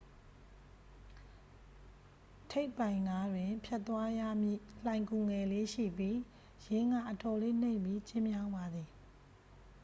ထိပ်ပိုင်နားတွင် ဖြတ်သွားရမည့် လှိုဏ်ဂူငယ်လေး ရှိပြီး ယင်းက အတော်လေး နိမ့်ပြီး ကျဉ်းမြောင်းပါသည်